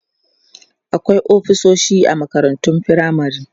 akwai ofisoshi a makarantun firamare